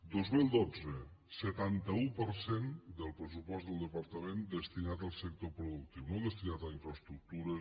dos mil dotze setanta un per cent del pressupost del departament destinat al sector productiu no destinat a infraestructures